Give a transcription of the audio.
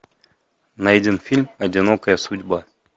найди фильм одинокая судьба